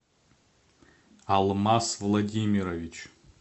алмаз владимирович